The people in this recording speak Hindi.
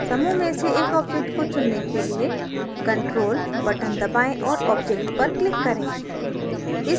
समूह में से एक object को चुनने के लिए ctrl button दबाएँ और object पर click करें